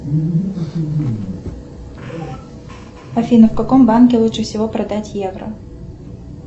афина в каком банке лучше всего продать евро